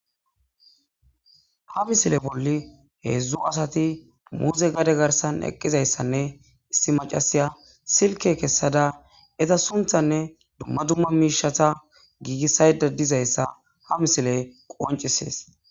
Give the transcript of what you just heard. Ha misile bolli heedzdzu asati muuze gade garsan eqqizayssanne issi macasiya silke kessada eza sunthanne dumma dumma miishata giigissayda dizayssa ha misile qoncisees.